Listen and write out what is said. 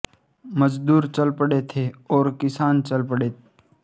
મજ઼દૂર ચલ પડ઼ે થે ઔર કિસાન ચલ પડે